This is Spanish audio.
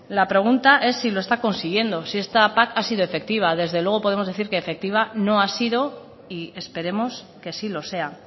la pregunta es si lo está consiguiendo si esta pac ha sido efectiva desde luego podemos decir que efectiva no ha sido y esperemos que sí lo sea